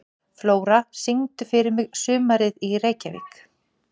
Flóra, syngdu fyrir mig „Sumarið í Reykjavík“.